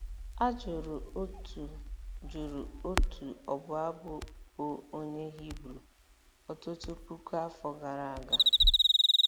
a jụrụ otu jụrụ otu ọbụ abụ bụ́ onye Hibru ọtụtụ puku afọ gara aga.